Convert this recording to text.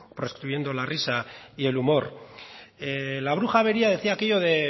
proscribiendo la risa y el humor la bruja avería decía aquello de